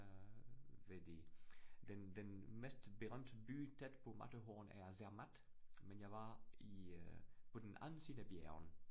Øh ved de. Den den mest berømte by tæt på Matterhorn er Zermatt, men jeg var i øh på den anden side af bjerget